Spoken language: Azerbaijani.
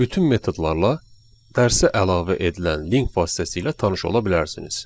Bütün metodlarla dərsi əlavə edilən link vasitəsilə tanış ola bilərsiniz.